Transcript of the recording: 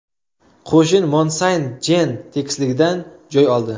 Qo‘shin Mont Saynt Jen tekisligidan joy oldi.